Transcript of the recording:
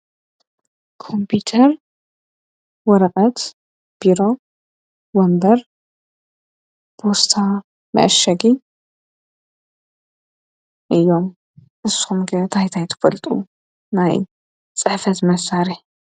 ቆምፑተር ወረቐት ቡሮ ወንበር ብስታ መኣሸጊ እዮም እሳምጊ ታይታይ ትፈልጡ ናይ ጸሕፈት መሣሬ።